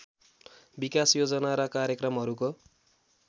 विकास योजना र कार्यक्रमहरूको